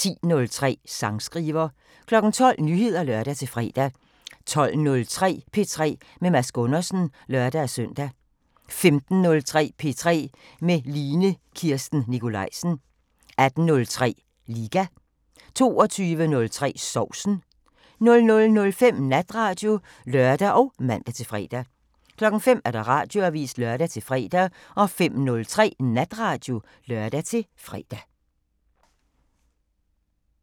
10:03: Sangskriver 12:00: Nyheder (lør-fre) 12:03: P3 med Mads Gundersen (lør-søn) 15:03: P3 med Line Kirsten Nikolajsen 18:03: Liga 22:03: Sovsen 00:05: Natradio (lør og man-fre) 05:00: Radioavisen (lør-fre) 05:03: Natradio (lør-fre)